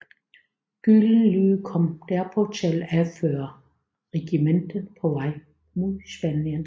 Gyldenløve kom derpå til at anføre regimentet på vej mod Spanien